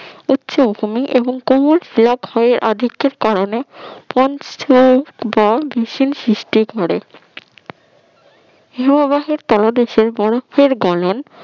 উচ্চভূমি এবং কোমল শিলা ক্ষয়ের আধিক্যের কারণে পঞ্চ ভ ভিষণ সৃষ্টি করে হিমবাহের তলদেশ বরফের গনন